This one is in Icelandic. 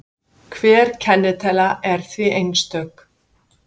hver kennitala er því einstök